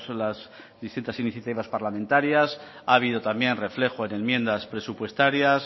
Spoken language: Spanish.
las distintas iniciativas parlamentarias ha habido también reflejo en enmiendas presupuestarias